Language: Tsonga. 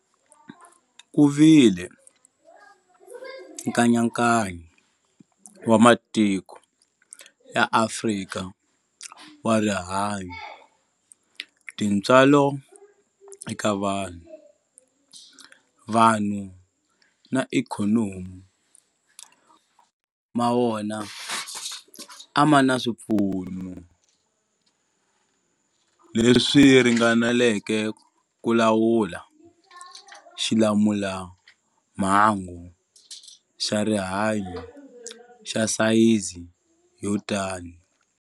Ku vile nkayakayo wa matiko ya Afrika wa rihanyu, tintswalo eka vanhu, vanhu na ikhonomi, mo tala ma wona a ma na swipfuno leswi ringaneleke ku lawula xilamulelamhangu xa rihanyu xa sayizi yo tani.